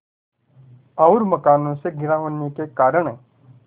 और मकानों से घिरा होने के कारण